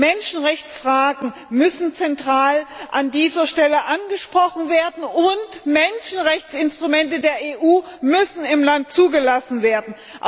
Menschenrechtsfragen müssen zentral an dieser Stelle angesprochen werden, und Menschenrechtsinstrumente der EU müssen im Land zugelassen werden.